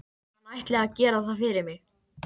Hann ætli að gera það fyrir mig.